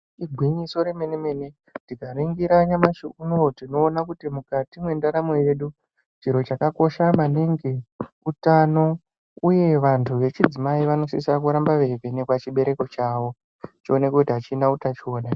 Igwinyiso remene-mene tikaringira nyamashi yono uyu tinoona kuti mukati mendaramo yedu. Chiro chakakosha maningi utano, uye vantu vechidzimai vanosisa kuramba veivhenekwa chibereko chavo choonekwe kuti hachina utachivana here.